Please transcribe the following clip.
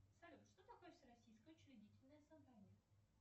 салют что такое всероссийское учредительное собрание